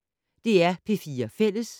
DR P4 Fælles